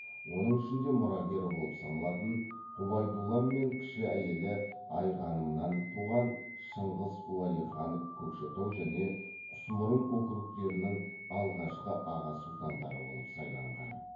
оның ішінде мұрагері болып саналатын ғұбайдолла мен кіші әйелі айғанымнан туған шыңғыс уәлиханов көкшетау және құсмұрын округтерінің алғашқы аға сұлтандары болып сайланған